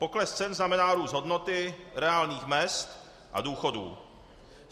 Pokles cen znamená růst hodnoty reálných mezd a důchodů.